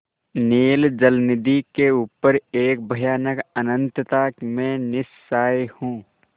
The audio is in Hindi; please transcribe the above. नील जलनिधि के ऊपर एक भयानक अनंतता में निस्सहाय हूँ